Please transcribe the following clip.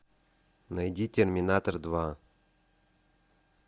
найди терминатор два